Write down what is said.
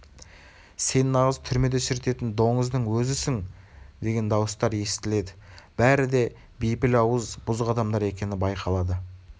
сен нағыз түрмеде шірітетін доңыздың өзісің деген дауыстар естіледі бәрі де бейпіл ауыз бұзық адамдар екені байқалады